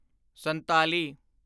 ਸੰਤਾਲੀ